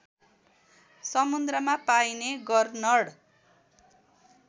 समुद्रमा पाइने गरनर्ड